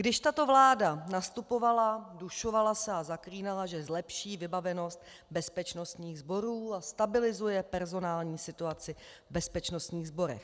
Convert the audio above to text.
Když tato vláda nastupovala, dušovala se a zaklínala, že zlepší vybavenost bezpečnostních sborů a stabilizuje personální situaci v bezpečnostních sborech.